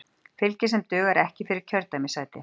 Fylgi sem dugar ekki fyrir kjördæmissæti